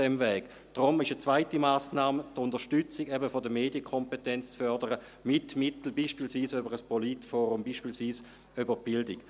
Deshalb ist die zweite Massnahme die Unterstützung der Medienkompetenz zu fördern, beispielsweise mit Mitteln wie einem Politforum, beispielsweise über die Bildung.